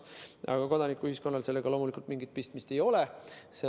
Aga kodanikuühiskonnal sellega loomulikult mingit pistmist ei ole.